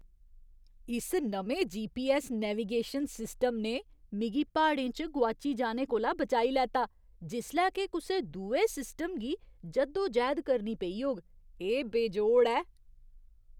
इस नमें GPS navigation system ने मिगी प्हाड़ें च गोआची जाने कोला बचाई लैता जिसलै के कुसै दुए सिस्टम गी जद्दोजैह्द करनी पेई होग। एह् बेजोड़ ऐ!